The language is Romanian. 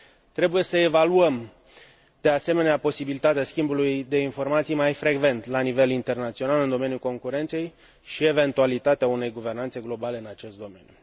Trebuie să evaluăm, de asemenea, posibilitatea schimbului de informații mai frecvent, la nivel internațional, în domeniul concurenței și eventualitatea unei guvernanțe globale în acest domeniu.